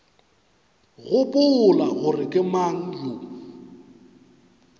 gopola gore ke mang yo